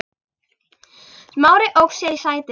Smári ók sér í sætinu.